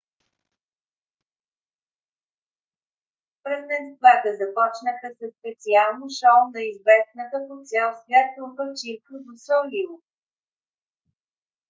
празненствата започнаха със специално шоу на известната по цял свят трупа cirque du soleil